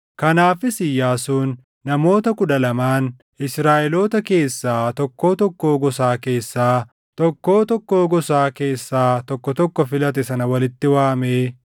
Kanaafis Iyyaasuun, namoota kudha lamaan Israaʼeloota keessaa, tokkoo tokkoo gosaa keessaa tokko tokko filate sana walitti waamee